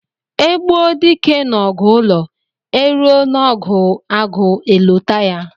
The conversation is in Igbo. E gbuo dike n'ọgụ ụlọ, e ruo n'ọgụ agụ e lote ya.